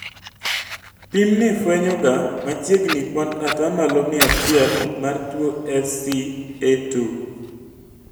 Pim ni fuenyo ga machiegni kuand atamalo mia achiel mar tuo SCA2